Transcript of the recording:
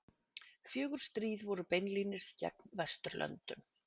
fjögur stríð voru beinlínis gegn vesturlöndum